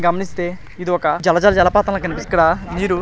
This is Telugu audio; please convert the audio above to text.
ఇక్కడ మీరు గమనిస్తే జల జల జలపాతంలా కనిపిస్తుంది.